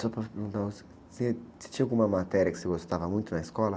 Só para perguntar, você, você tinha alguma matéria que você gostava muito na escola?